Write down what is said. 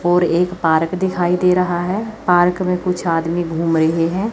और एक पार्क दिखाई दे रहा है। पार्क में कुछ आदमी घूम रहे हैं।